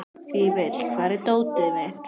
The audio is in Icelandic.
Fífill, hvar er dótið mitt?